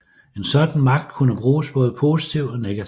En sådan magt kunne bruges både positivt og negativt